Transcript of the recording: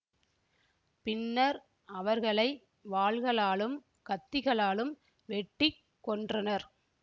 பின்னர் அவர்களை வாள்களாலும் கத்திகளாலும் வெட்டி கொன்றனர்